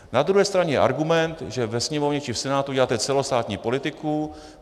Na druhé straně je argument, že ve Sněmovně či v Senátu děláte celostátní politiku.